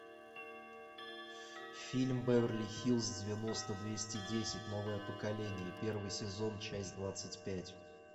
фильм беверли хиллз девяносто двести десять новое поколение первый сезон часть двадцать пять